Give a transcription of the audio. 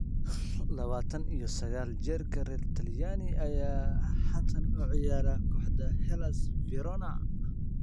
Labatan iyo sagal jirka reer Talyaani ayaa haatan u ciyaara kooxda Hellas Verona.